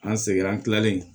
An segira an kilalen